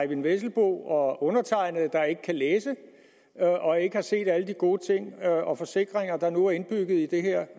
eyvind vesselbo og undertegnede der ikke kan læse og ikke har set alle de gode ting og forsikringer der nu er indbygget i de her